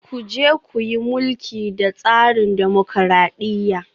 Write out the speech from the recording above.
Ku je ku yi mulki da tsarin dimokuradiyya